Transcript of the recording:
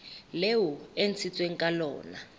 leo e ntshitsweng ka lona